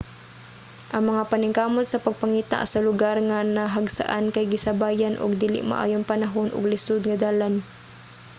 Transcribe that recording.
ang mga paningkamot sa pagpangita sa lugar nga nahagsaan kay gisabayan og dili maayong panahon ug lisod nga dalan